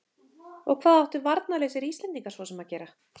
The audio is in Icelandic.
Og hvað áttu varnarlausir Íslendingar svo sem að gera?